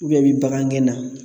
i bɛ bagan gɛn na